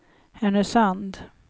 Härnösand